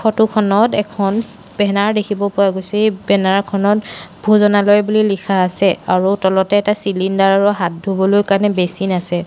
Photo খনত এখন banner দেখিব পোৱা গৈছে এই বেনাৰ খনত ভোজনালয় বুলি লিখা আছে আৰু তলতে এটা ছিলিণ্ডাৰ আৰু হাত ধুবলৈ কাৰণে বেচিন আছে।